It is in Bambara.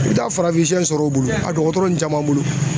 I bɛ taa farafinsɛ sɔrɔ u bolo a dɔgɔtɔrɔ ninnu caman bolo.